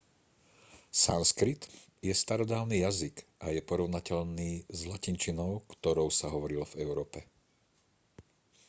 sanskrit je starodávny jazyk a je porovnateľný s latinčinou ktorou sa hovorilo v európe